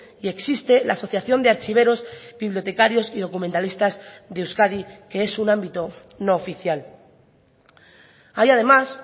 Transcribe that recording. y existe la asociación de archiveros bibliotecarios y documentalistas de euskadi que es un ámbito no oficial hay además